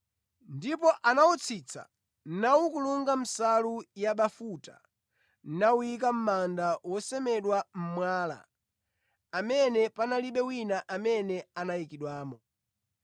Ndipo anawutsitsa, nawukulunga nsalu yabafuta nawuyika mʼmanda wosemedwa mʼmwala, amene panalibe wina amene anayikidwamo.